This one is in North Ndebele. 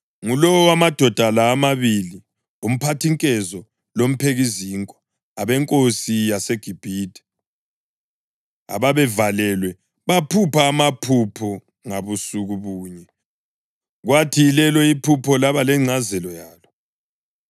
ngulowo wamadoda la amabili, umphathinkezo lomphekizinkwa, abenkosi yaseGibhithe, ababevalelwe baphupha amaphupho ngabusuku bunye, kwathi yilelo iphupho laba lengcazelo yalo.